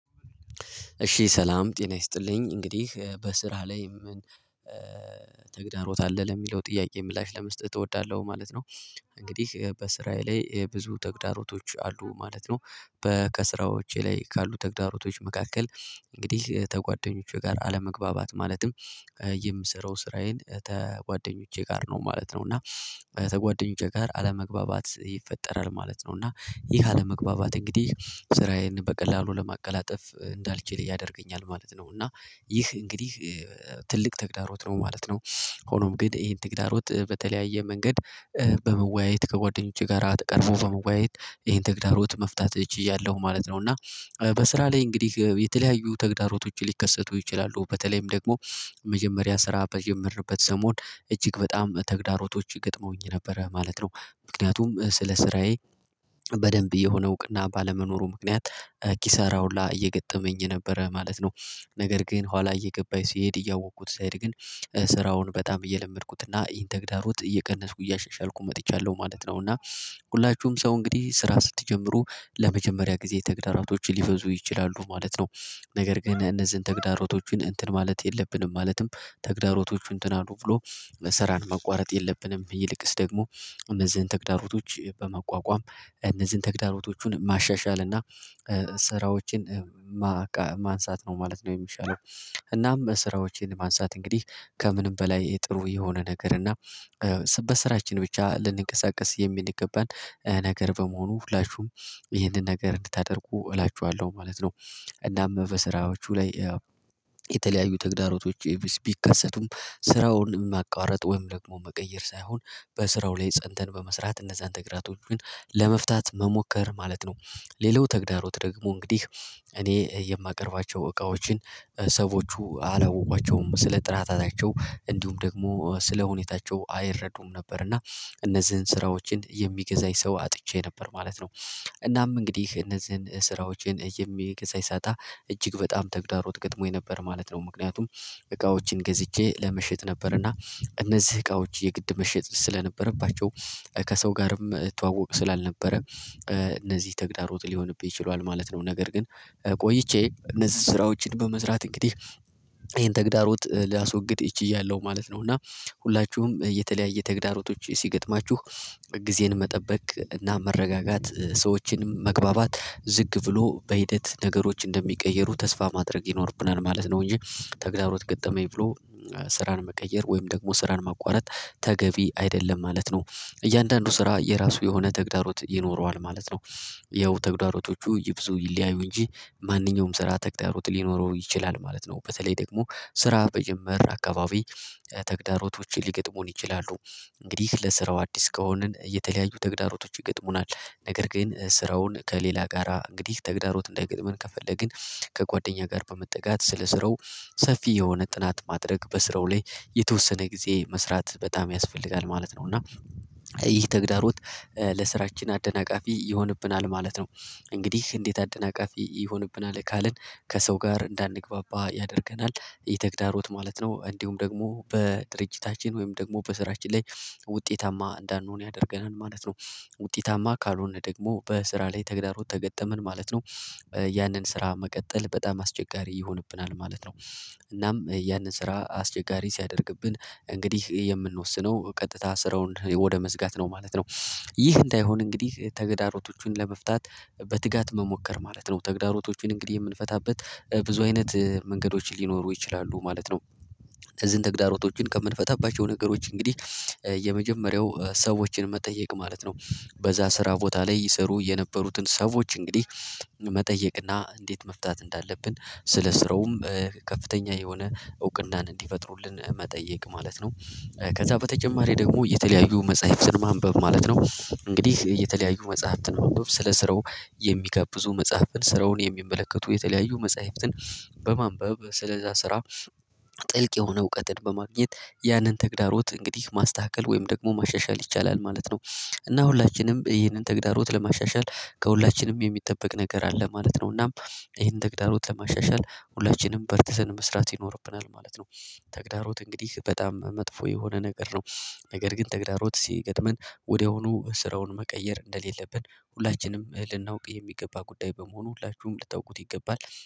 እሺ ሰላም ጤና ይስጥልኝ እንግዲህ በስራ ላይ ምን ተግዳሮት አለህ ለሚለው ጥያቄ ምላሽ ለመስጠት እወዳለሁ ማለት ነው። እንግዲህ በስራዬ ላይ ብዙ ተግዳሮቶች አሉ ማለት ነው። በ ከስራዎቼ ላይ ካሉ ተግዳሮቶች መካከል። እንግዲህ ተጓደኞቼ ጋር አለመግባባት ማለትም የምሰራው ስራዬን ተጓደኞቼ ጋር ነው ማለት ነው። እና ተጓደኞቼ ጋር አለመግባባት ይፈጠራል ማለት ነው እና ይህ አለመግባባት እንግዲህ ስራዬን በቀላሉ ለማቀላጠፍ እንዳልችል ያደርገኛል ማለት ነው። እና ይህ እንግዲህ ትልቅ ተግዳሮት ነው ማለት ነው። ሆኖም ግን ይሄን ተግዳሮት በተለያየ መንገድ በመወያየት ከጓደኞቼ ጋራ ተቀርቦ በመወያየት ይሄን ትግዳሮት መፍታት ቺያለው ማለት ነው። እና በስራ ላይ እንግዲህ የተለያዩ ተግዳሮቶች ሊከሰቱ ይችላሉ በተለይም ደግሞ መጀመሪያ ስራ በጀመርንበት ሰሞን እጅግ በጣም ተግዳሮቶች ገጥመውኝ ነበረ ማለት ነው። ምክንያቱም ስለ ስራዬ በደንብ የሆነ እውቅና ባለመኖሩ ምክንያት ኪሳራ ሁላ እየገጠመኝ ነበረ ማለት ነው። ነገር ግን ኋላ እየገባኝ ሲሄድ እያወቅኩት ሲሄድ ግን ስራውን በጣም እየለመድኩትና ተግዳሮት እየቀነስኩ እያሻሻልኩ መጥቻለሁ ማለት ነው። እና ሁላችሁም ሰው እንግዲህ ስራ ስትጀምሩ ለመጀመሪያ ጊዜ ተግዳሮቶች ሊበዙ ይችላሉ ማለት ነው። ነገር ግን እነዚህን ተግዳሮቶችን እንትን ማለት የለብንም ማለትም ተግዳሮቶቹን እንትን አሉ ብሎ መሰራር መቋረጥ የለብንም። ይልቅስ ደግሞ እነዚህን ተግዳሮቶች በመቋቋም እነዚህን ተግዳሮቶቹን ማሻሻልና ስራዎችን ማንሳት ነው ማለት ነው የሚሻለው። እናም ስራዎችን ማንሳት እንግዲህ ከምንም በላይ ጥሩ የሆነ ነገር እና በስራችን ብቻ ልንቀሳቀስ የሚንገባን ነገር በመሆኑ ሁላችሁም ይህንን ነገር እንድታደርጉ እላችኋለሁ ማለት ነው። እናም በስራዎቹ ላይ ያው የተለያዩ ተግዳሮቶች ቢከሰቱም ስራውን ማቋረጥ ወይም ደግሞ መቀየር ሳይሆን በስራው ላይ ፀንተን በመስራት እነዛን ተግራቶች ለመፍታት መሞከር ማለት ነው። ሌላው ተግዳሮት ደግሞ እንግዲህ እኔ የማቀርባቸው እቃዎችን ሰዎቹ አላወቋቸውም ስለ ጥራታቸው እንዲሁም ደግሞ ስለ ሁኔታቸው አይረዱም ነበር እና እነዚህን ስራዎችን የሚገዛኝ ሰው አጥቼ ነበር ማለት ነው። እናም እንግዲህ እነዚህን ስራዎችን የሚገዛ ሳጣ እጅግ በጣም ተግዳሮት ገጥሞኝ ነበር ማለት ነው። ምክንያቱም እቃዎችን ገዝቼ ለመሸጥ ነበርና እነዚህ እቃዎች የግድ መሸጥ ስለነበረባቸው ከሰው ጋርም ተዋወቅ ስላልነበረ እነዚህ ተግዳሮት ሊሆንብኝ ችለዋል ማለት ነው። ነገር ግን ቆይቼ እነዚህን ስራዎችን በመስራት እንግዲህ ይሄን ተግዳሮት ላስወግድ ችያለሁ ማለት ነው። እና ሁላችሁም የተለያየ ተግዳሮቶች ሲገጥማችሁ ጊዜን መጠበቅ እና መረጋጋት ሰዎችን መግባባት ዝግ ብሎ በሂደት ነገሮች እንደሚቀየሩ ተስፋ ማድረግ ይኖርብናል ማለት ነው። እንጂ ተግዳሮት ገጠመኝ ብሎ ስራን መቀየር ወይም ደግሞ ስራን ማቋረጥ ተገቢ አይደለም ማለት ነው። እያንዳንዱ ስራ የራሱ የሆነ ተግዳሮት ይኖረዋል ማለት ነው። ያው ተግዳሮቶቹ ይብዙ ይለያዩ እንጂ ማንኛውም ስራ ተግዳሮት ሊኖረው ይችላል ማለት ነው። በተለይ ደግሞ ስራ በጀመር አካባቢ ተግዳሮቶችን ሊገጥሙን ይችላሉ። እንግዲህ ለስራው አዲስ ከሆንን የተለያዩ ተግዳሮቶች ይገጥሙናል ነገር ግን ስራውን ከሌላ ጋራ እንግዲህ ተግዳሮት እንደገጥመን ከፈለግን ከጓደኛ ጋር በመጠጋት ስለ ስራው ሰፊ የሆነ ጥናት ማድረግ በስራው ላይ የተወሰነ ጊዜ መስራት በጣም ያስፈልጋል ማለት ነው። እና ይህ ተግዳሮት ለስራችን አደናቃፊ ይሆንብናል ማለት ነው። እንግዲህ እንዴት አደናቃፊ ይሆንብናል ካልን ከሰው ጋር እንዳንግባባ ያደርገናል ይህተግዳሮት ማለት ነው። እንዲሁም ደግሞ በድርጅታችን ወይም ደግሞ በስራችን ላይ ውጤታማ እንዳንሆን ያደርገናል ማለት ነው። ውጤታማ ካልሆነ ደግሞ በስራ ላይ ተግዳሮት ተገጠመን ማለት ነው። ያንን ስራ መቀጠል በጣም አስቸጋሪ ይሆንብናል ማለት ነው። እናም ያንን ስራ አስቸጋሪ ሲያደርግብን እንግዲህ የምንወስነው ቀጥታ ስራውን ወደ መዝጋት ነው ማለት ነው። ይህ እንዳይሆን እንግዲህ ተግዳሮቶቹን ለመፍታት በትጋት መሞከር ማለት ነው ተግዳሮቶቹን እንግዲህ የምንፈታበት ብዙ አይነት መንገዶችን ሊኖሩ ይችላሉ ማለት ነው። እዚህን ተግዳሮቶችን ከምንፈታባቸው ነገሮች እንግዲህ የመጀመሪያው ሰዎችን መጠየቅ ማለት ነው። በዛ ስራ ቦታ ላይ ይሰሩ የነበሩትን ሰዎች እንግዲህ መጠየቅና እንዴት መፍታት እንዳለብን ስለ ስሮውም ከፍተኛ የሆነ እውቅናን እንዲፈጥሩልን መጠየቅ ማለት ነው። ከዛ በተጨማሪ ደግሞ የተለያዩ መጽሐፍትን ማንበብ ማለት ነው። እንግዲህ የተለያዩ መጽሐፍትን ማንበብ ስለ ስራው የሚጋብዙ መጽሐፍን ስራውን የሚመለከቱ የተለያዩ መጽሐፍትን በማንበብ ስለዛ ስራ ጥልቅ የሆነ እውቀትን በማግኘት ያንን ተግዳሮት እንግዲህ ማስተካከል ወይም ደግሞ ማሻሻል ይቻላል ማለት ነው። እና ሁላችንም ይህንን ተግዳሮት ለማሻሻል ከሁላችንም የሚጠበቅ ነገር አለ ማለት ነው። እናም ይሄን ተግዳሮት ለማሻሻል ሁላችንም በርተሰን መስራት ይኖርብናል ማለት ነው። ተግዳሮት እንግዲህ በጣም መጥፎ የሆነ ነገር ነው። ነገር ግን ተግዳሮት ሲገጥመን ወዲያውኑ ስራውን መቀየር እንደሌለብን ሁላችንም ልናውቅ የሚገባ ጉዳይ በመሆኑ ሁላችሁም ልታውቁት ይገባል